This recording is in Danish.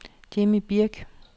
Jimmy Birch